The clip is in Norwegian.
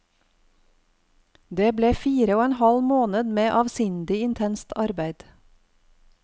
Det ble fire og en halv måned med avsindig intenst arbeid.